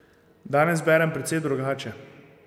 Danes berem precej drugače.